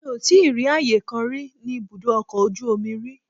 Mi ò tíì rí ààyè kan rí ní ibùdó ọkọ̀ ojú omi rí.